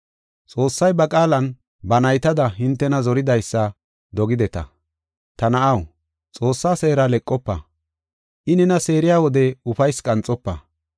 Xoossay ba qaalan, ba naytada hintena zoridaysa dogideta. “Ta na7aw, Xoossaa seera leqofa; I nena seeriya wode ufaysi qanxofa.